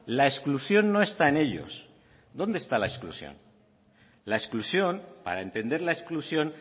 la exclusión no está en ellos dónde está la exclusión la exclusión para entender la exclusión